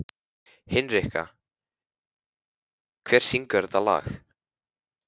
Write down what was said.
Hinrikka, hver syngur þetta lag?